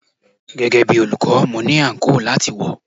Gẹ́gẹ́ bí olùkọ́, mo ní àǹkóò láti wọ̀.